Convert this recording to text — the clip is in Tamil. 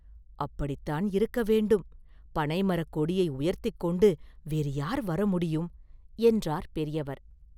“அப்படிதான் இருக்க வேண்டும்; பனைமரக் கொடியை உயர்த்திக் கொண்டு வேறு யார் வரமுடியும்?” என்றார் பெரியவர்.